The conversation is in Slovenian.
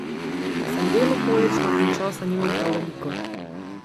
Sem deloholična in časa nimam prav veliko.